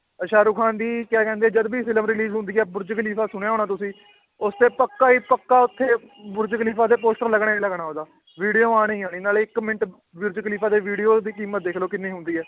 ਅਹ ਸਾਹਰੁਖਾਨ ਦੀ ਕਿਆ ਕਹਿੰਦੇ ਜਦ ਵੀ film release ਹੁੰਦੀ ਹੈ ਬੁਰਜ਼ ਖਲੀਫ਼ਾ ਸੁਣਿਆ ਹੋਣਾ ਤੁਸੀਂ ਉਸ ਤੇ ਪੱਕਾ ਹੀ ਪੱਕਾ ਉੱਥੇ ਬੁਰਜ਼ ਖਲੀਫ਼ਾ ਤੇ poster ਲੱਗਣਾ ਹੀ ਲੱਗਣਾ ਉਹਦਾ video ਆਉਣੀ ਆਉਣੀ ਨਾਲੇ ਇੱਕ ਮਿੰਟ ਬੁਰਜ਼ ਖਲੀਫ਼ਾ ਤੇ video ਦੀ ਕੀਮਤ ਦੇਖ ਲਓ ਕਿੰਨੀ ਹੁੰਦੀ ਹੈ l